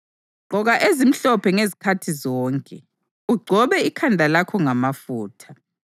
Gqoka ezimhlophe ngezikhathi zonke, ugcobe ikhanda lakho ngamafutha.